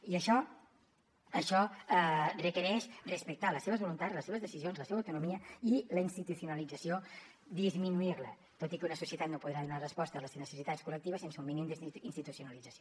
i això requereix respectar les seves voluntats les seves decisions la seva autonomia i la institucionalització disminuir la tot i que una societat no podrà donar resposta a les necessitats col·lectives sense un mínim d’institucionalització